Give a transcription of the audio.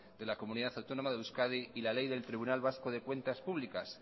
de la comunidad autónoma de euskadi y la ley del tribunal vasco de cuentas públicas